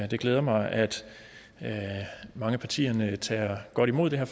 det glæder mig at mange af partierne tager godt imod det her